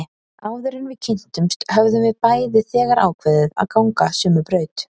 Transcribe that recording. Áður en við kynntumst höfðum við bæði þegar ákveðið að ganga sömu braut.